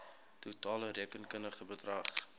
totale rekenkundige bedrag